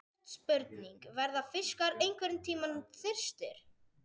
Stutt spurning, verða fiskar einhverntímann þyrstir!??